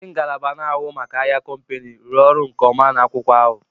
Ndị ngalaba n'ahụ maka ahịa kompani, rụrụ ọrụ nkeọma n'akwụkwọ ahu